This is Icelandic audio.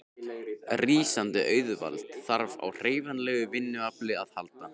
Rísandi auðvald þarf á hreyfanlegu vinnuafli að halda.